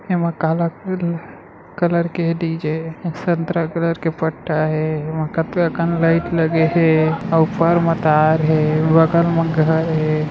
एमा काला कल कलर के डी जे संतरा कलर के पट्टा हे एमा कतका कन लाइट लगे हे अऊ ऊपर म तार हे बगल म घर हे।